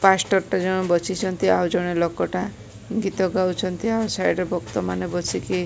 ଆଉ ଜଣେ ଲୋକଟା ଗୀତ ଗାଉଛନ୍ତି ଆଉ ସାଇଡରେ ବକ୍ତା ମାନେ ବସିକି --